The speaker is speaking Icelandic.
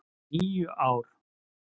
. níu ár!